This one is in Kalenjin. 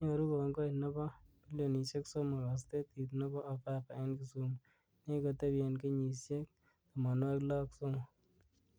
Nyoru kongoi nebo bilionishek somok astetit nebo ofafa eng Kisumu nekikotebi kenyishek 63.